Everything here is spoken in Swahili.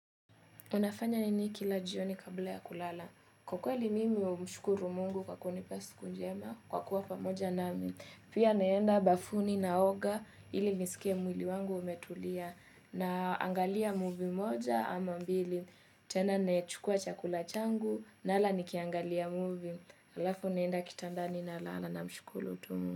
Unafanya nini kila jioni kabla ya kulala. Ukweli mimi humshukuru mungu kwa kunipa siku njema kwa kua pamoja nami pia naenda bafuni naoga ili niskie mwili wangu umetulia. Na angalia muvi moja ama mbili. Tena nachukua chakula changu na nala nikiangalia muvi. Alafu naenda kitandani nalala tu namshukuru tu mungu.